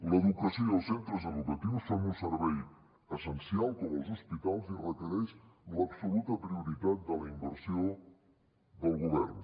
l’educació els centres educatius és un servei essencial com els hospitals i requereix l’absoluta prioritat de la inversió del govern